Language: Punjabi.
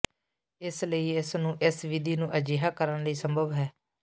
ਇਸ ਲਈ ਇਸ ਨੂੰ ਇਸ ਵਿਧੀ ਨੂੰ ਅਜਿਹਾ ਕਰਨ ਲਈ ਸੰਭਵ ਹੈ